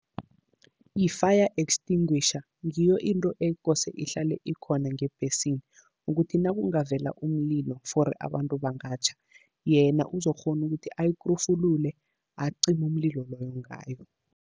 I-fire extinguisher ngiyo into ekose ihlale ikhona ngebhesini, ukuthi nakungavela umlilo, for abantu bangatjha yena uzokukghona ukuthi ayikrufulule acime umlilo loyo ngayo.